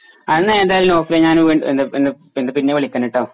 എന്നാ ഏതായാലും നൗഫലെ ഞാൻ വീണ്ടും എന്ത എന്ത പിന്നെ വിളിക്കനുട്ടോ